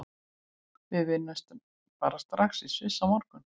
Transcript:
Við vinnum bara strax í Sviss á morgun.